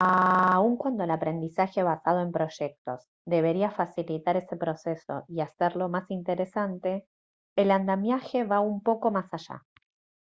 aun cuando el aprendizaje basado en proyectos debería facilitar ese proceso y hacerlo más interesante el andamiaje va un poco más allá